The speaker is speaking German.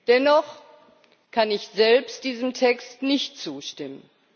Dennoch kann ich selbst diesem Text nicht zustimmen.